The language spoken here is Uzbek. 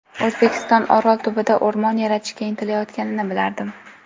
O‘zbekiston Orol tubida o‘rmon yaratishga intilayotganini bilardim.